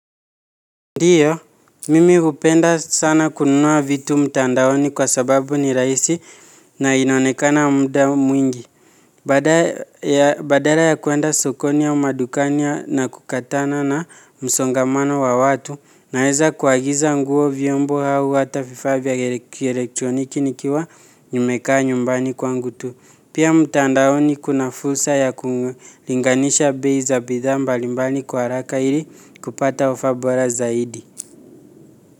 Ndiyo, mimi hupenda sana kununua vitu mtandaoni kwa sababu ni raisi na inaonekana mda mwingi. Badara ya kuenda sokoni au madukani na kukatana na msongamano wa watu, naeza kuagiza nguo vyombo hau hata vifaa vya kielektroniki nikiwa nimekaa nyumbani kwangu tu. Pia mtandaoni kuna fursa ya kulinganisha bei za bidhaa mbalimbali kwa araka ili kupata ofa bora zaidi.